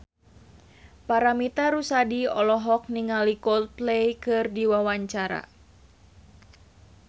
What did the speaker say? Paramitha Rusady olohok ningali Coldplay keur diwawancara